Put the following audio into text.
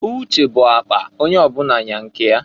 Uche bu akpa, onye ọbụna nya nke ya.